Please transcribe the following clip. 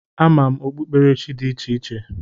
A ma m okpuerechi dị icheiche